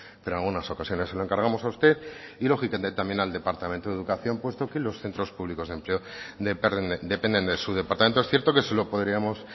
pero en algunas ocasiones se lo encargamos a usted y lógicamente también al departamento de educación puesto que los centros públicos de empleo dependen de su departamento es cierto que se lo podríamos